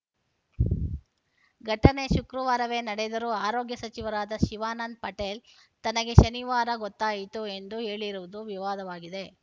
ಘಟನೆ ಶುಕ್ರವಾರವೇ ನಡೆದರೂ ಆರೋಗ್ಯ ಸಚಿವರಾದ ಶಿವಾನಂದ್‌ ಪಟೇಲ್‌ ತನಗೆ ಶನಿವಾರ ಗೊತ್ತಾಯಿತು ಎಂದು ಹೇಳಿರುವುದು ವಿವಾದವಾಗಿದೆ